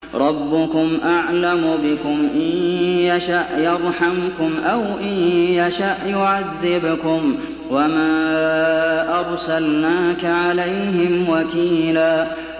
رَّبُّكُمْ أَعْلَمُ بِكُمْ ۖ إِن يَشَأْ يَرْحَمْكُمْ أَوْ إِن يَشَأْ يُعَذِّبْكُمْ ۚ وَمَا أَرْسَلْنَاكَ عَلَيْهِمْ وَكِيلًا